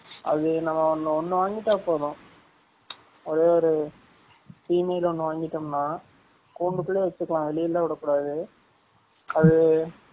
அது நம்ம ஒன்னு வாங்கிட்டா போதும் அது ஒரு female ஒன்னு வாங்கிடோம்னா கூண்டு குல்லயே வச்சு கலாம் வெலியலா விட கூடாது அது